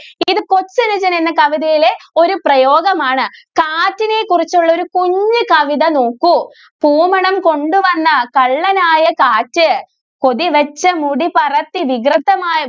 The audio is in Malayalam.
ഇത് കൊച്ചനുജൻ എന്ന കവിതയിലെ ഒരു പ്രയോഗം ആണ്. കാറ്റിനെ കുറിച്ചുള്ള ഒരു കുഞ്ഞി കവിത നോക്കു കോമളം കൊണ്ടുവന്ന കള്ളൻ ആയ കാറ്റ്. കൊതി വച്ച മുടി പറത്തി വികൃതമായ